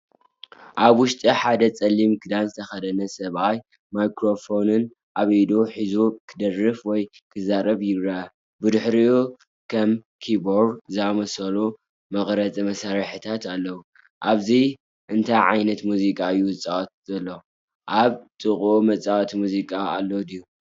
ኣብ ውሽጢ ሓደ ጸሊም ክዳን ዝተኸድነ ሰብኣይ ማይክሮፎን ኣብ ኢዱ ሒዙ ክደርፍ ወይ ክዛረብ ይረአ። ብድሕሪኡ ከም ኪቦርድ ዝኣመሰሉ መቕረጺ መሳርሒታት ኣለዉ። ኣብዚ እንታይ ዓይነት ሙዚቃ እዩ ዝጻወት ዘሎ? ኣብ ጥቓኡ መጻወቲ ሙዚቃ ኣሎ ድዩ?